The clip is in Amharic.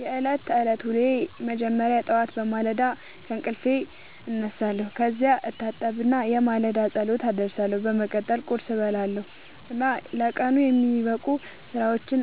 የዕለት ተዕለት ዉሎየ መጀመሪያ ጠዋት በማለዳ ከእንቅልፌ እነሳለሁ። ከዚያ እታጠብና የማለዳ ጸሎት አደርሳለሁ። በመቀጠልም ቁርስ እበላለሁ እና ለቀኑ የሚጠበቁ ሥራዎቼን